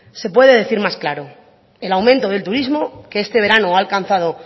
se puede decir más claro el aumento del turismo que este verano ha alcanzado